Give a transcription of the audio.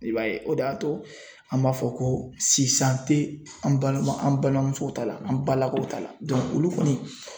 I b'a ye o de y'a to an b'a fɔ ko sisan tɛ an balima an balimamusow ta la an balakaw ta la olu kɔni